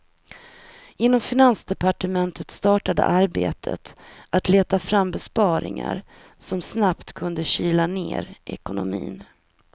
Inom finansdepartementet startade arbetet att leta fram besparingar som snabbt kunde kyla ner ekonomin.